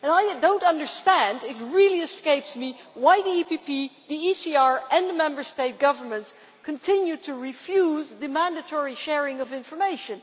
I do not understand it really escapes me why the EPP, the ECR and the Member State governments continue to refuse mandatory sharing of information.